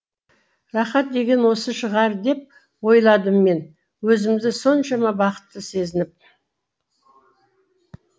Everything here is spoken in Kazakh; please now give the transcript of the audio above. рақат деген осы шығар деп ойладым мен өзімді соншама бақытты сезініп